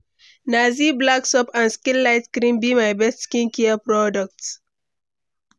Na Zee Black soap and skin light cream be my best skincare products.